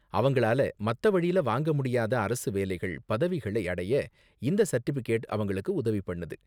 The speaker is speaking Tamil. அவங்களால மத்த வழில வாங்க முடியாத அரசு வேலைகள், பதவிகளை அடைய இந்த சர்டிபிகேட் அவங்களுக்கு உதவி பண்ணுது.